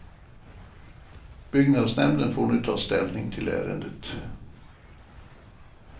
Byggnadsnämnden får nu ta ställning till ärendet.